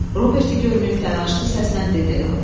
Roberti görməyib təlaşlı səslə dedi.